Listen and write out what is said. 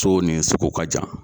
So nin soko ka jan